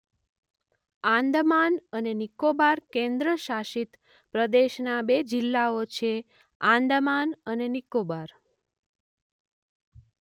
આંદામાન અને નિકોબાર કેન્દ્રશાસિત પ્રદેશના બે જિલ્લાઓ છે આંદામાન અને નિકોબાર.